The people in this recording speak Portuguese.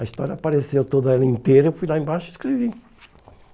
A história apareceu toda ali inteira, eu fui lá embaixo e escrevi.